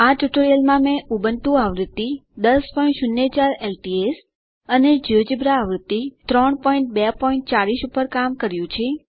આ ટ્યુટોરીયલમાં મેં ઉબુન્ટુ આવૃત્તિ 1004 એલટીએસ અને જિયોજેબ્રા આવૃત્તિ 3240 ઉપર કામ કર્યું છે